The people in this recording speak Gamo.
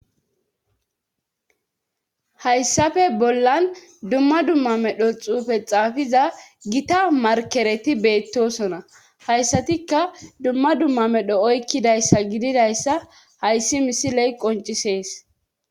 Hayssafe bollan dumma dumma medho xuufe xaafiza gita markereti beettosona hayssatikka dumma dumma medho oykkidayssa gididayssa hayssi misi ley qoncisees.